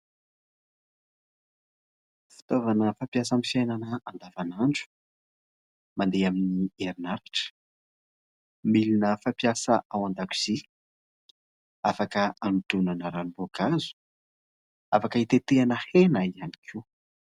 Fitaovana fampiasa amin'ny fiainana andavanandro mandeha amin'ny herinaratra. Milina fampiasa ao an-dakozia, Afaka hanatonoana ranom-boakazo, afaka hitetehana hena ihany koa.